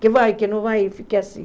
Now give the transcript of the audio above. Que vai, que não vai, e fiquei assim.